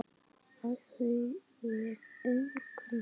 Af því fer engum sögum.